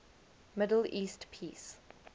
middle east peace